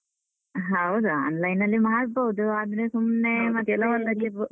ಹೌದು online ಅಲ್ಲಿ ಮಾಡ್ಬೋದು, ಆದ್ರೆ.